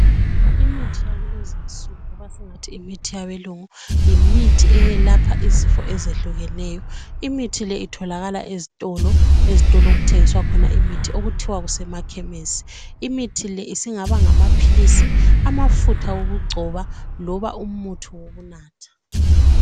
Imithi yakulezi nsuku loba singathi yimithi yabelungu yimithi eyelapha izifo ezehlukeneyo imithi le itholakala ezitolo okuthengiswa khona imithi okuthiwa kusemakhemesi imithi le isingaba ngamaphilisi amafutha okugcoba loba umuthi wokunatha.